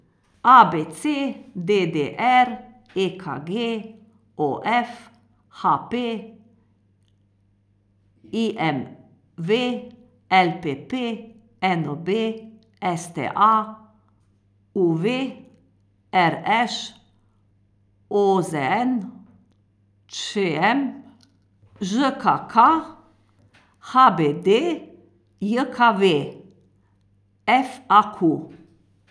A B C; D D R; E K G; O F; H P; I M V; L P P; N O B; S T A; U V; R Š; O Z N; Č M; Ž K K; H B D J K V; F A Q.